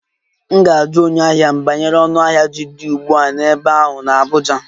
M ga-ajụ onye ahịa m banyere ọnụahịa ji dị ugbu a n'ebe ahụ n'Abuja